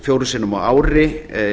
fjórum sinnum ári